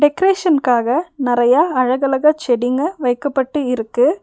டெக்ரேஷன்க்காக நறையா அழகழகா செடிக வைக்கப்பட்டு இருக்கு.